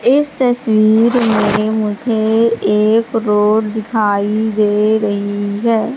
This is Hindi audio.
इस तस्वीर में मुझे एक रोड दिखाई दे रही है।